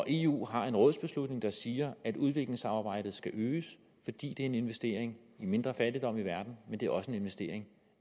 eu har en rådsbeslutning der siger at udviklingssamarbejdet skal øges fordi det er en investering i mindre fattigdom i verden men det er også en investering